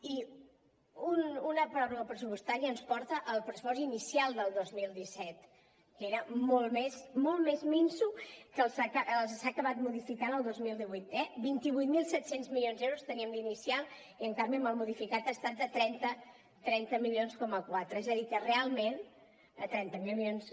i una pròrroga pressupostària ens porta al pressupost inicial del dos mil disset que era molt més minso que el que s’ha acabat modificant el dos mil divuit eh vint vuit mil set cents milions d’euros teníem d’inicial i en canvi amb el modificat ha estat de trenta mil quatre cents milions